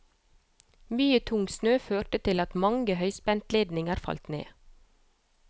Mye tung snø førte til at mange høyspentledninger falt ned.